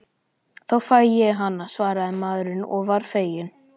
Þá fæ ég hana, svaraði maðurinn og var feginn.